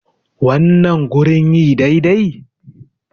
wannan gurin yi dai dai?